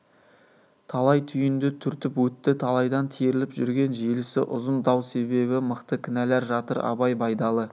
талай түйінді түртіп өтті талайдан теріліп жүрген желісі ұзын дау себебі мықты кінәлар жатыр абай байдалы